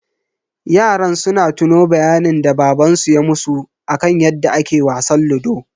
Yaran suna tuno bayanin da baban su ya musu akan yadda ake wasan ludo.